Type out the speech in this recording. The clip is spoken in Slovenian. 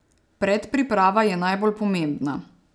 Predpriprava je najbolj pomembna.